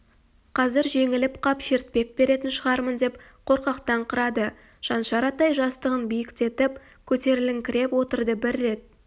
қазір жеңіліп қап шертпек беретін шығармын деп қорқақтаңқырады шаншар атай жастығын биіктетіп көтеріліңкіреп отырды бір рет